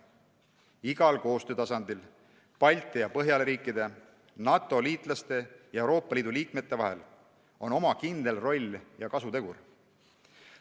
Igal koostöötasandil – Balti ja Põhjala riikide, NATO-liitlaste ja Euroopa Liidu liikmete vahel – on oma kindel roll ja kasutegur.